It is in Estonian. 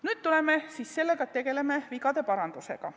Nüüd me siis tegeleme vigade parandusega.